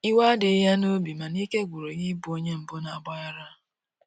iwe adighi ya n'obi, mana ike gwụrụ ya ị bụ onye mbu na agbaghara